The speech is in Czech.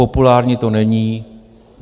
Populární to není.